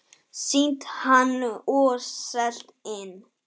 Sýnt hann og selt inn.